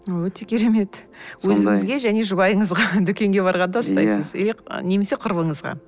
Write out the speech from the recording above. өте керемет өзіңізге және жұбайыңызға дүкенге барғанда ұстайсыз немесе құрбыңызға